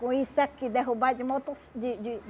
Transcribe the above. Com isso aqui, derrubado de motos de de